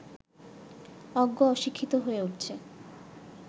অজ্ঞ অশিক্ষিত হয়ে উঠছে